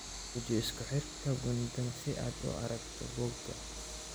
Guji isku xirka guntan si aad u aragto bogga